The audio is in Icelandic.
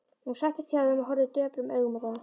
Hún settist hjá þeim og horfði döprum augum á þá.